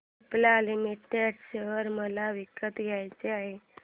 Cipla limited share मला विकत घ्यायचे आहेत